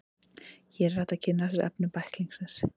Hér er hægt að kynna sér efni bæklingsins.